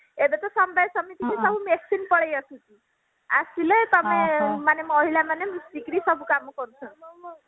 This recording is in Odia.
ଏଇଟା ତ ସମବାୟ ସମିତିକୁ ସବୁ machine ପଳେଇ ଆସୁଛି ଆସିଲେ ତମେ ମାନେ ମହିଳା ମାନେ ମିଶିକିରି ସବୁ କାମ କରୁଛନ୍ତି